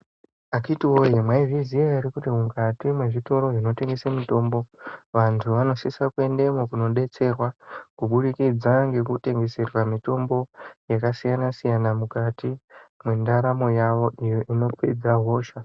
Akhitiwee, mwaizviziya ere kuti mukati zvezvitoro zvinotengesa mitombo, vantu vanosisa kuendemwo kundodetserwa, kubudikidza ngekutengeserwe mitombo yakasiyana-siyana, mukati mwendaramo yavo, iyo inopedza hosha.